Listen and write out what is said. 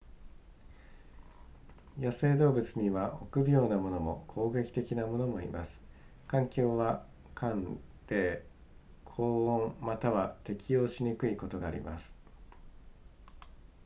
野生動物には臆病なものも攻撃的なものもいます環境は寒冷高温または適応しにくいことがあります